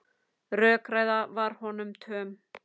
Rökræða var honum töm.